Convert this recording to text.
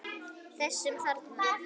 Þessum þarna!